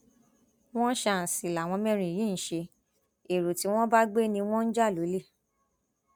wọn ṣàǹṣì làwọn mẹrin yìí ń ṣe ẹrọ tí wọn bá gbé ni wọn ń jà lólè